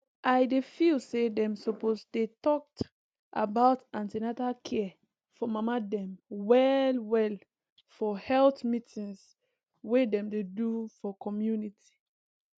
i dey feel say dem suppose dey talked about an ten atal care for mama dem well well for health meetings wey dem dey do for community